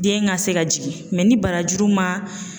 Den ka se ka jigin mɛ ni barajuru ma